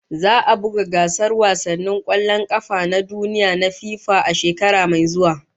Za'a buga gasar wasannin kwallon kafa na duniya na FIFA a shekara mai zuwa